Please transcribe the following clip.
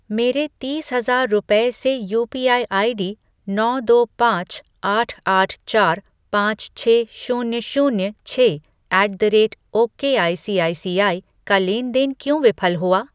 मेरे तीस हजार रुपये से यूपीआई आईडी नौ दो पाँच आठ आठ चार पाँच छः शून्य शून्य छः ऐट द रेट ओकेआईसीआईसीआई का लेन देन क्यों विफल हुआ?